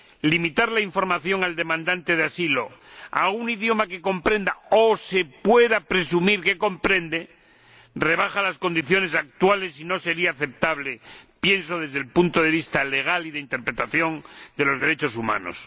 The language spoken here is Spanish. Limitar la información al demandante de asilo a un idioma que comprenda o se pueda presumir que comprende rebaja las condiciones actuales y no sería aceptable, creo, desde el punto de vista legal y de interpretación de los derechos humanos.